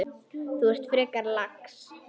Þú ert frekar lax.